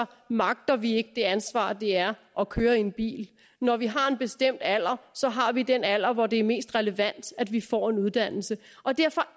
magter vi ikke det ansvar det er at køre en bil når vi har en bestemt alder så har vi den alder hvor det er mest relevant at vi får en uddannelse og derfor